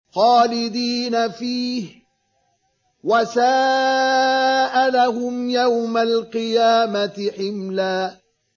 خَالِدِينَ فِيهِ ۖ وَسَاءَ لَهُمْ يَوْمَ الْقِيَامَةِ حِمْلًا